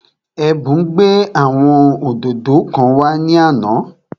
Ẹ̀bùn gbé àwọn òdòdó kan wá ní àná